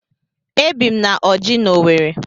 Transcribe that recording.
Ebi m na Ọjị́ n'Owerri.